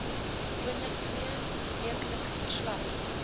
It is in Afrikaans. gewoonlik tweeweekliks verslag